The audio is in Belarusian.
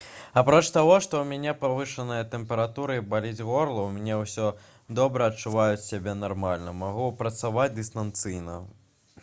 апроч таго што ў мяне павышаная тэмпература і баліць горла у мяне ўсё добра адчуваю сябе нармальна магу працаваць дыстанцыйна